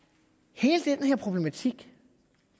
hele den her problematik